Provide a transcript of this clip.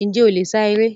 Njẹ o le sá eré?